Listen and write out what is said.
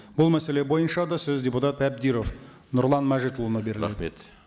бұл мәселе бойынша да сөз депутат әбдіров нұрлан мәжитұлына